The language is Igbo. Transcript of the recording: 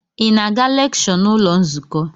Ị na-aga lekshọ n'ụlọ nzukọ?